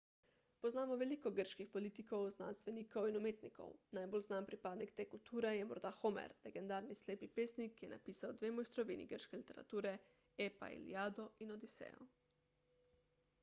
poznamo veliko grških politikov znanstvenikov in umetnikov najbolj znan pripadnik te kulture je morda homer legendarni slepi pesnik ki je napisal dve mojstrovini grške literature epa iliado in odisejo